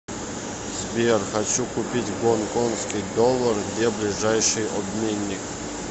сбер хочу купить гонконгский доллар где ближайший обменник